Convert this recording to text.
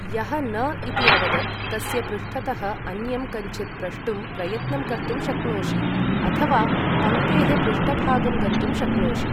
यः न इति अवदत् तस्य पृष्ठतः अन्यं कञ्चित् प्रष्टुं प्रयत्नं कर्तुं शक्नोषि, अथवा पङ्क्तेः पृष्ठभागं गन्तुं शक्नोषि।